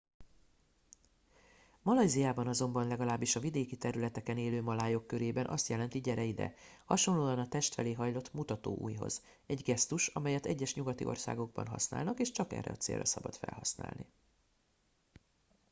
malajziában azonban legalábbis a vidéki területeken élő malájok körében azt jelenti gyere ide hasonlóan a test felé hajlított mutatóujjhoz egy gesztus amelyet egyes nyugati országokban használnak és csak erre a célra szabad felhasználni